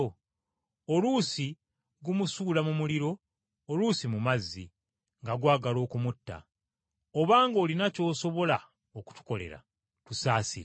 Oluusi gumusuula mu muliro oluusi mu mazzi nga gwagala okumutta. Obanga olina ky’osobola okutukolera, tusaasire.”